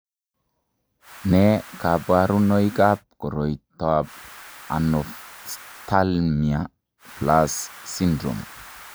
Nee kabarunoikab koriotoab Anophthalmia plus syndrome?